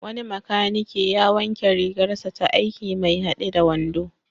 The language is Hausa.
Wani makanike ya wanke rigarsa ta aiki mai haɗe da wando.